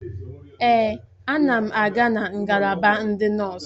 Èè, a na m aga na ngalaba ndị nọọsụ.